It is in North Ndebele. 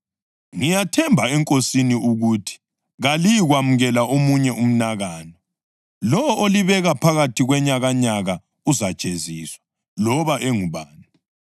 Ngiyathemba eNkosini ukuthi kaliyikwamukela omunye umnakano. Lowo olibeka phakathi kwenyakanyaka uzajeziswa, loba engubani.